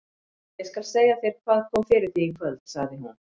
Ég skal segja þér hvað kom fyrir þig í kvöld, sagði hún.